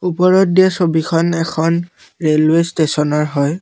ওপৰত দিয়া ছবিখন এখন ৰেলৱে ষ্টেচনৰ হয়।